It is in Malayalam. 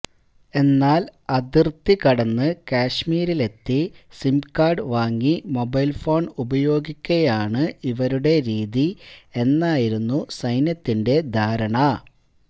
എന്നാല് അതിര്ത്തി കടന്ന് കാഷ്്്മീരിലെത്തി സിം കാര്ഡ് വാങ്ങി മൊബൈല് ഫോണ് ഉപയോഗിക്കുകയാണ് ഇവരുടെ രീതി എന്നായിരുന്നു സൈന്യത്തിന്റെ ധാരണ